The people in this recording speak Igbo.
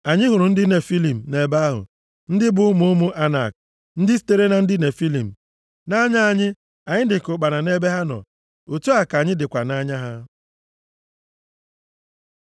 Anyị hụrụ ndị Nefilim nʼebe ahụ (ndị bụ ụmụ ụmụ Anak, ndị sitere na ndị Nefilim). Nʼanya anyị, anyị dịka ụkpana nʼebe ha nọ, otu a ka anyị dịkwa nʼanya ha.”